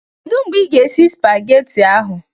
Kedu mgbe ị ga-esi spagetị ahụ?